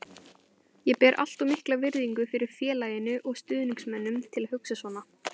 Ég ber allt of mikla virðingu fyrir félaginu og stuðningsmönnunum til að hugsa svona.